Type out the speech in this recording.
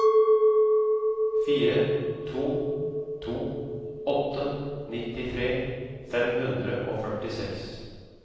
fire to to åtte nittitre fem hundre og førtiseks